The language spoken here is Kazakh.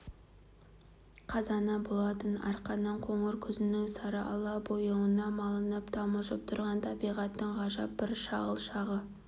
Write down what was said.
қазаны болатын арқаның қоңыр күзінің сарыала бояуына малынып тамылжып тұрған табиғаттың ғажап бір шағыл шағы